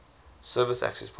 service access point